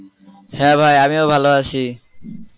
হ্যাঁ ভাই আমিও ভালো আছি।